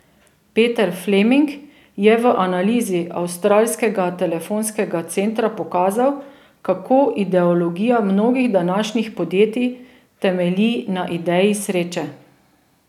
Peter Fleming je v analizi avstralskega telefonskega centra pokazal, kako ideologija mnogih današnjih podjetij temelji na ideji sreče.